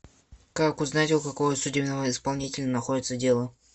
как узнать у какого судебного исполнителя находится дело